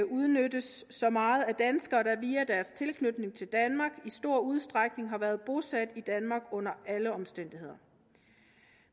udnyttes så meget af danskere der via deres tilknytning til danmark i stor udstrækning har været bosat i danmark under alle omstændigheder